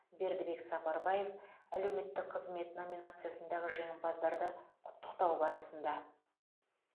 бердібек сапарбаев әлеуметтік қызмет номинациясындағы жеңімпаздарды құттықтау барысында